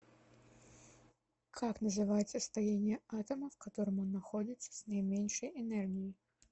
как называется состояние атома в котором он находится с наименьшей энергией